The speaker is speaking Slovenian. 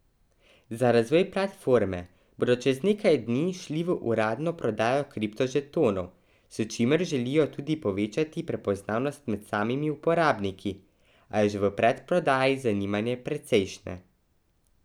Za razvoj platforme bodo čez nekaj dni šli v uradno prodajo kriptožetonov, s čimer želijo tudi povečati prepoznavnost med samimi uporabniki, a je že v predprodaji zanimanje precejšnje.